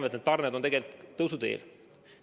Me teame, et tarned on tegelikult tõusuteel.